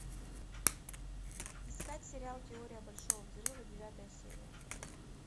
искать сериал теория большого взрыва девятая серия